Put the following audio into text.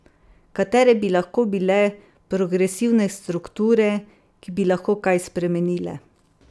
Katere bi lahko bile progresivne strukture, ki bi lahko kaj spremenile?